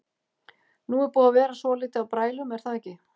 Nú er búið að vera svolítið af brælum er það ekki?